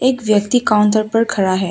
एक व्यक्ति काउंटर पर खड़ा है।